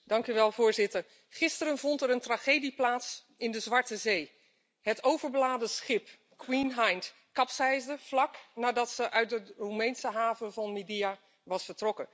Voorzitter, gisteren vond er een tragedie plaats in de Zwarte Zee het overbeladen schip Queen Hind kapseisde vlak nadat het uit de Roemeense haven van Midia was vertrokken.